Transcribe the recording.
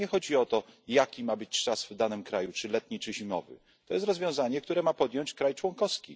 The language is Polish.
Bo nie chodzi o to, jaki ma być czas w danym kraju czy letni czy zimowy to jest decyzja, którą ma podjąć kraj członkowski.